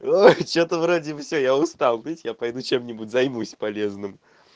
ой что-то вроде бы всё я устал видите я пойду чем-нибудь займусь полезным